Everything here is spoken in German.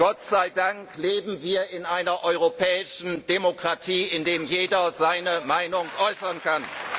Gott sei Dank leben wir in einer europäischen Demokratie, in der jeder seine Meinung äußern kann!